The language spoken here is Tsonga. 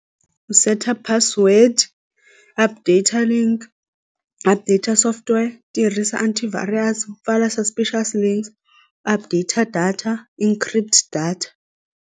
Seta password updater link updater software tirhisa antivirus pfala suspicious links update data encrypt data.